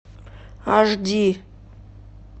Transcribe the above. аш ди